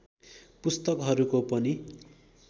पुस्तकहरूको पनि